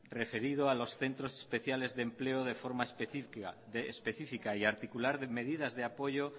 referido a los centros especiales de empleo de forma específica y articular medidas de apoyo